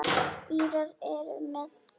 Írar eru með.